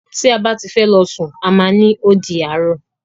Ti a ba ti fẹ lọ sun a má ni "O di àárọ̀".